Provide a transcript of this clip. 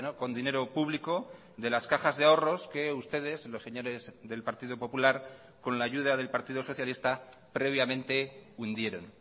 con dinero público de las cajas de ahorros que ustedes los señores del partido popular con la ayuda del partido socialista previamente hundieron